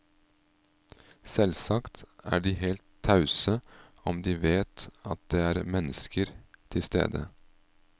Selvsagt er de helt tause om de vet at det er menneske til stede.